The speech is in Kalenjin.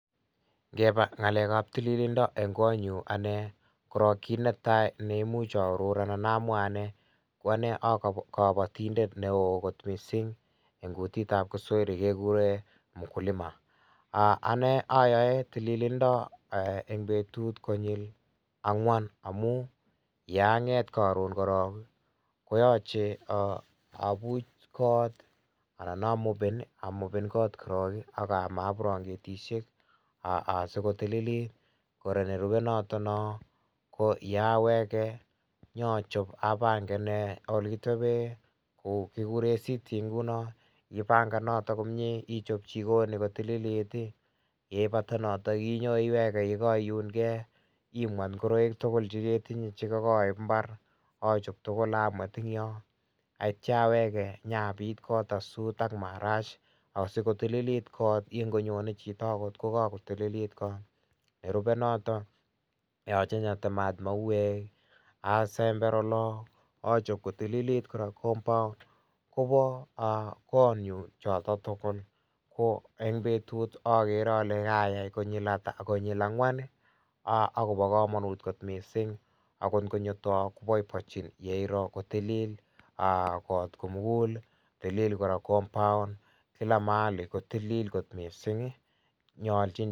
Kebaa ngalek ab tilinda en Koo nyuun ane ko kit ne tai neimuuch aoror ane anan amwaa ane ko ane a kabatindet ne wooh koot missing en kutit ab kiswahili kegureen mkulima aah ayae tililindo en betut konyil angween amuun yaan ngeet karoon korong koyachei abuuuch koot korong ii anan a moben ii korong ak ama branketisheek asi kotililit, kora ne rupee noton noo ko yawegei nyoon achasp ole kitepbeen tuguuk che kigureen sittii ipangan noton komyei ii ichaap jikoni kotililit ii ,yeipata notoon inyoon iwegee ye Kai uun gei imweet ingoraik tugul che ketinyei en mbar achoop tugul ak amweet eng Yoon ak yeityaa awege yapiit koot asuut ak maraash asikotililit koot ongonyonri chitoo kokakotilit kot, nerupei notoon koyachei nya temaat mauweek ii asember oloon achoop kotililit compound kobo kot nyuun chotoon tugul ko eng betut agere ale kayai konyil ata ,konyil angween ii agobo kamanut koot missing ago ingonyoor taan ko boiboiechin koot missing ye ror kotililit koot kimugul ii tilil kora compound kila mahali kotililit koot missing nyaljiin.